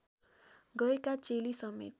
गएका चेली समेत